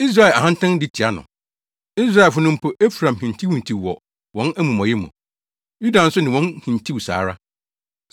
Israel ahantan di tia no. Israelfo no, mpo Efraim hintihintiw wɔ wɔn amumɔyɛ mu; Yuda nso ne wɔn hintiw saa ara.